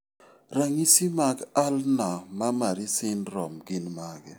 Ranyisi mag Ulnar mammary syndrome gin mage?